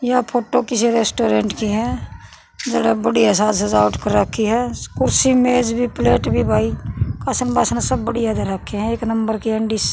या फोटो किस्से रेस्टोरेंट की ह जड़ह बढ़िया साज सजावट कर राखी ह कुर्सी मेज भी प्लेट भी भाई कासण बासण सब बढ़िया धर राखे हं एक नंबर के एंडी --